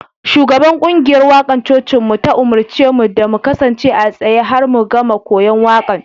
Shugaban kungiyar mawakan cocinmu ta umarce mu da mu kasance a tsaye har mu gama koyon waƙan.